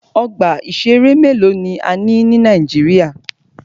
Ọgbà ìṣẹ̀rẹ́ mélòó ni a ní ní Nàíjíríà.